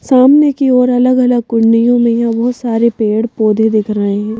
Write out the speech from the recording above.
सामने की ओर अलग-अलग कुंडियों में यहाँ बहुत सारे पेड़ पौधे दिख रहे हैं।